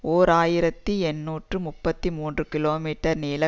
ஓர் ஆயிரத்தி எண்ணூற்று முப்பத்தி மூன்று கிலோ மீட்டர் நீள